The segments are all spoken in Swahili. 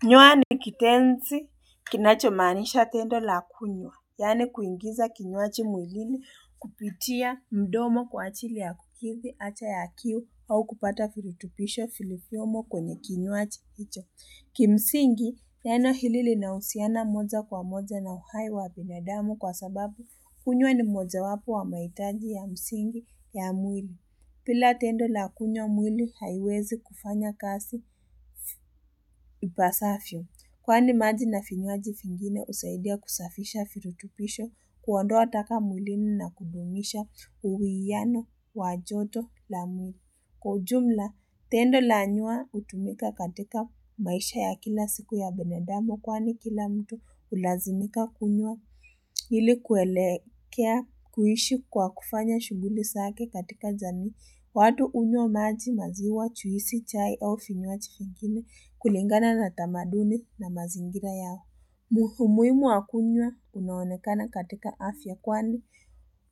Kinywa ni kitenzi kinachomanisha tendo la kunywa, yani kuingiza kinywaji mwilini kupitia mdomo kwa ajili ya kukithi haja ya kiu au kupata vilutubisho vilivyiomo kwenye kinywaji hicho. Kimsingi, neno lina husiana moja kwa moja na uhai wa binadamu kwa sababu kunywa ni moja wapo wa mahitaji ya msingi ya mwili. Bila tendo la kunywa mwili haiwezi kufanya kasi ipasayvo. Kwani maji na vinwaji vingine usaidia kusafisha virutupisho kuwandoa taka mwilini na kudumisha uwiano wajoto la kwaujumla. Tendo la nywa hutumika katika maisha ya kila siku ya binadamu kwani kila mtu hulazimika kunywa hili kuelekea kuishi kwa kufanya shuguli zake katika jami. Watu hunywa maji maziwa, juisi, chai au vinywa vinywaji vingine kulingana na tamaduni na mazingira yao. Muhimu wakunywa unaonekana katika afya kwani.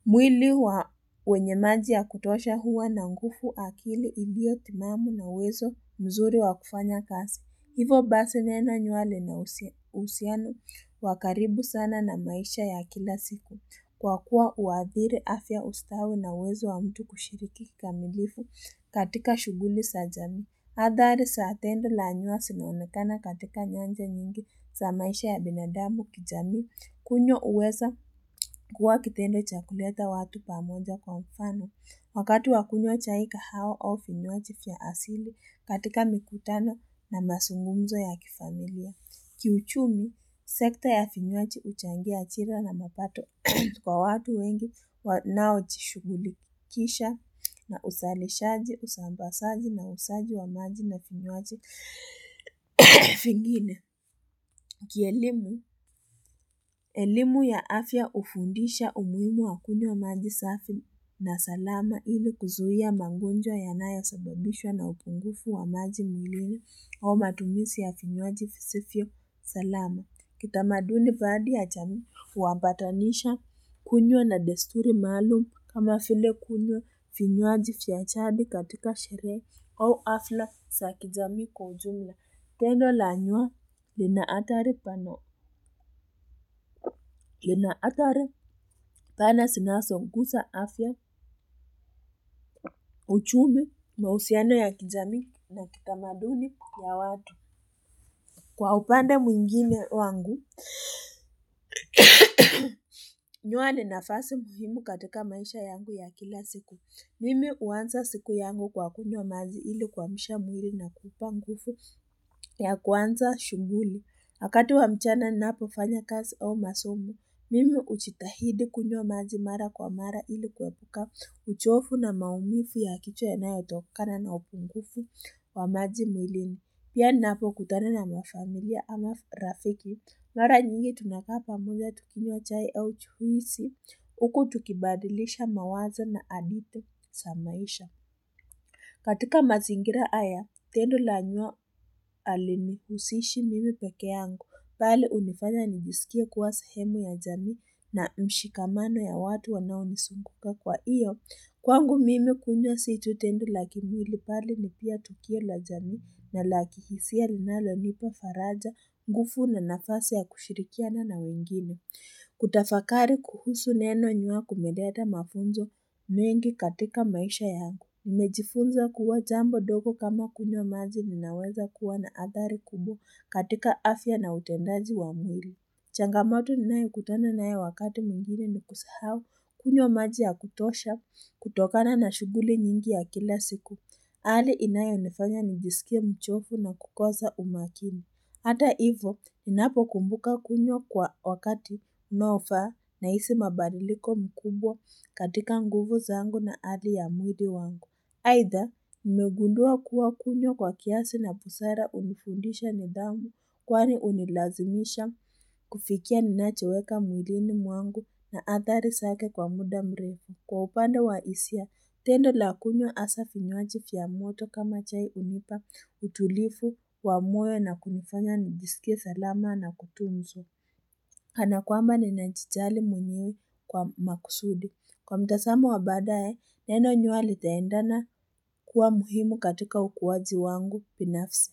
Mwili wa wenye maji ya kutosha huwa na nguvu akili ilio timamu na wezo mzuri wakufanya kasi. Hivyo basi neno nywa lina uhusiano wakaribu sana na maisha ya kila siku. Kwa kuwa uadhiri afya ustawi na wezo wa mtu kushiriki kamilifu katika shuguli za jami. Hadhari zatendo la nywa zinanekana katika nyanja nyingi za maisha ya binadamu kijami. Kunywa huweza kuwa kitendo chakuleta watu pamoja kwa mfano. Wakati wakunywa chai kahawa au vinywaji vya asili katika mikutano na mazungumzo ya kifamilia. Ki uchumi, sekta ya vinywaji huchangia ajira na mapato kwa watu wengi wanao jishugulikisha na uzalishaji, usambazaji na uzaji wa maji na vinyaji vingine. Kielimu, elimu ya afya hufundisha umuhimu wa kunywa maji safi na salama ili kuzuia mangonjwa ya nayo sababishwa na upungufu wa maji mwilini au matumizi ya vinyaji visivyo salama. Kitamaduni baadhi ya jami huampatanisha kunywa na desturi maalum kama vile kunywa vinywaji viyajadi katika shere au hafla za kijami kujumla. Tendo la nywa lina hatari pana zinazonguza afya uchumi mahusiano ya kijami na kitamaduni ya watu. Kwa upande mwingine wangu, nywa ninafasi muhimu katoka maisha yangu ya kila siku. Mimi huanza siku yangu kwa kunywa maji ili kuamsha mwili na kupanguvu ya kwanza shuguli. Wakati wa mchana ninapo fanya kazi au masomo, mimi huchitahidi kunywa maji mara kwa mara ili kuepuka uchofu na maumivu ya kichwa ya nayo tokana na upungufu wa maji mwilini. Pia ninapo kutana na mafamilia ama rafiki, mara nyingi tunakaa pamoja tukinywa chai au juisi, huku tukibadilisha mawazo na hadithi za maisha. Katika mazingira haya, tendo la nywa halinihusishi mimi peke yangu, mbali hunifanya nijisikie kuwa sahemu ya jami na mshikamano ya watu wanao nizunguka kwa iyo. Kwangu mimi kunywa situ tendo laki mwili mbali ni pia tukio la jami na laki hisia linalo nipo faraja nguvu na nafasi ya kushirikiana na wengine. Kutafakari kuhusu neno nywa kumeleta mafunzo mengi katika maisha yangu. Nimejifunza kuwa jambo ndogo kama kunywa maji linaweza kuwa na athari kubwa katika afya na utendaji wa mwili. Changamoto ni nae kutana nae wakati mwingine ni kusahau kunywa maji ya kutosha kutokana na shuguli nyingi ya kila siku. Hali inayonifanya nijisikie mchofu na kukosa umakini. Hata hivyo, ninapo kumbuka kunywa kwa wakati unaofaa na hisi mabadiliko mkubwa katika nguvu zangu na hali ya mudi wangu. Aitha, nimegundua kuwa kunywa kwa kiasi na busara hunifundisha nithamu kwani hunilazimisha kufikia ninachoweka mwilini mwangu na athari zake kwa muda mrefu. Kwa upande wa hisia, tendo la kunywa hasa vinywaji viamoto kama chai hunipa utulifu wa moyo na kunifanya nijisikie salama na kutunzo. Kana kwamba ni nanjijali mwenyewe kwa makusudi. Kwa mtazamo wa baadae, neno nywa litaendana kuwa muhimu katika ukuwaji wangu binafsi.